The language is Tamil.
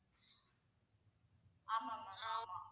ஆமா mam ஆமா